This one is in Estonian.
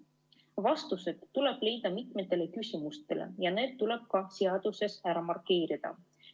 Vastused tuleb leida mitmele küsimusele ja need tuleb seaduses ära markeerida.